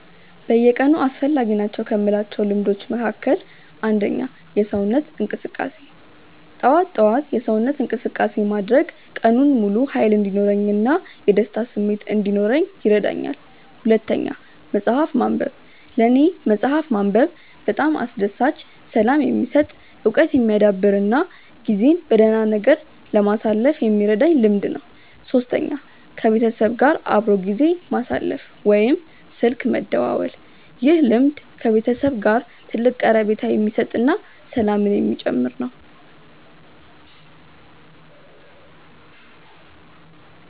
በየቀኑ አስፈላጊ ናቸው ከምላቸው ልምዶች መካከል፦ 1. የሰውነት እንቅስቃሴ፦ ጠዋት ጠዋት የሰውነት እንቅስቃሴ ማድረግ ቀኑን ሙሉ ሃይል እንዲኖረኝ እና የደስታ ስሜት እንዲኖረኝ ይረዳኛል። 2. መፅሐፍ ማንበብ፦ ለኔ መፅሐፍ ማንበብ በጣም አስደሳች፣ ሰላም የሚሰጥ፣ እውቀት የሚያዳብር እና ጊዜን በደህና ነገር ለማሳለፍ የሚረዳኝ ልምድ ነው። 3. ከቤተሰብ ጋር አብሮ ጊዜ ማሳለፍ ወይም ስልክ መደወል፦ ይህ ልምድ ከቤተሰብ ጋር ትልቅ ቀረቤታ የሚሰጥ እና ሰላምን የሚጨምር ነው